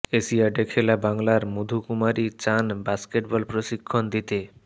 এশিয়াডে খেলা বাংলার মধু কুমারী চান বাস্কেটবল প্রশিক্ষণ দিতে